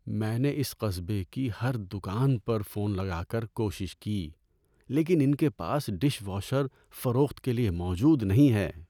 میں نے اس قصبے کی ہر دکان پر فون لگا کر کوشش کی، لیکن ان کے پاس ڈش واشر فروخت کے لیے موجود نہیں ہے۔